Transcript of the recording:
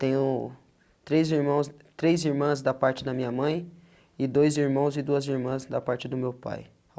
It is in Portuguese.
Tenho três irmãos três irmãs da parte da minha mãe e dois irmãos e duas irmãs da parte do meu pai.